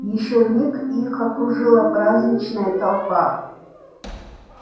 ещё миг и их окружила праздничная толпа